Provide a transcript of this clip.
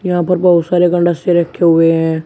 यहां पर बहोत सारे रखे हुए है।